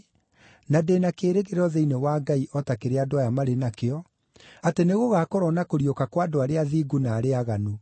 na ndĩ na kĩĩrĩgĩrĩro thĩinĩ wa Ngai o ta kĩrĩa andũ aya marĩ nakĩo, atĩ nĩgũgakorwo na kũriũka kwa andũ arĩa athingu na arĩa aaganu.